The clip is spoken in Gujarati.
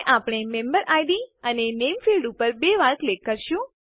અને આપણે મેમ્બેરિડ અને નામે ફિલ્ડ્સ ઉપર બે વાર ક્લિક કરીશું